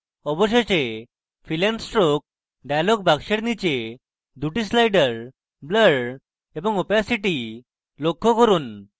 অবশেষে fill and stroke dialog box নীচে 2 the sliders blur এবং opacity লক্ষ্য করুন